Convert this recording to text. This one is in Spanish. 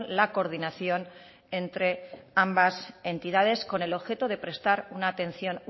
la coordinación entre ambas entidades con el objeto de prestar una atención